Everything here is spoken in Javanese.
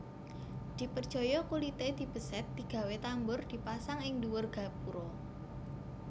Diperjaya kulité dibesèt digawé tambur dipasang ing dhuwur gapura